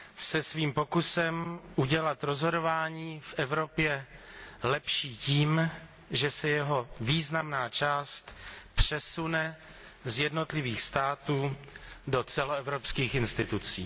se svým pokusem udělat rozhodování v Evropě lepší tím, že se jeho významná část přesune z jednotlivých států do celoevropských institucí.